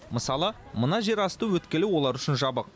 мысалы мына жерасты өткелі олар үшін жабық